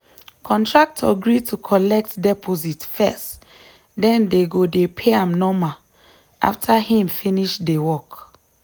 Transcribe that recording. contractor gree to collect deposit first den dey go dey pay am normal after him finish de work.